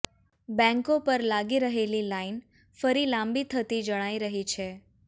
બેંકો પર લાગી રહેલી લાઇન ફરી લાંબી થતી જણાય રહી છે